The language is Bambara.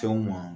Fɛnw ma